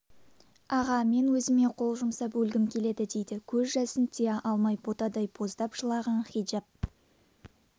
аға мен өзіме қол жұмсап өлгім келеді дейді көз жасын тия алмай ботадай боздап жылаған хиджап